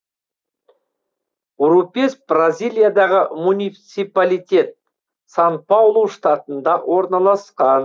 урупес бразилиядағы муниципалитет сан паулу штатында орналасқан